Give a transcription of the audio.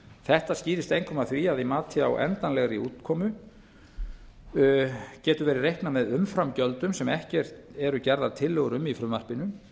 þetta skýrist einkum af því að í mati á endanlegri útkomu getur verið reiknað með umframgjöldum sem ekki eru gerðar tillögur um í frumvarpinu